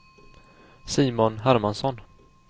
Simon Hermansson